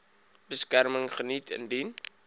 beskerming geniet indien